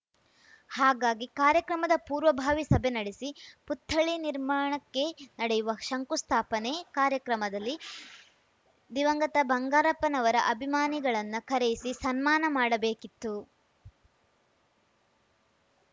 ಹಾಗಾಗಿ ಕಾರ್ಯಕ್ರಮದ ಪೂರ್ವಭಾವಿ ಸಭೆ ನಡೆಸಿ ಪುತ್ಥಳಿ ನಿರ್ಮಾಣಕ್ಕೆ ನಡೆಯುವ ಶಂಕುಸ್ಥಾಪನೆ ಕಾರ್ಯಕ್ರಮದಲ್ಲಿ ದಿವಂಗತಬಂಗಾರಪ್ಪನವರ ಅಭಿಮಾನಿಗಳನ್ನ ಕರೆಯಿಸಿ ಸನ್ಮಾನ ಮಾಡಬೇಕಿತ್ತು